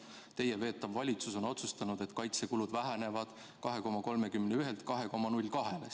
Teie veetav valitsus on otsustanud, et kaitsekulud vähenevad 2,31%-lt 2,02%-le.